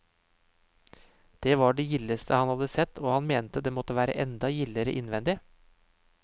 Det var det gildeste han hadde sett, og han mente det måtte være enda gildere innvendig.